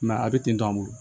a bɛ ten tɔ an bolo